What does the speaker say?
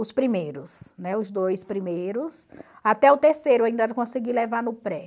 Os primeiros, né, os dois primeiros, até o terceiro eu ainda consegui levar no pré.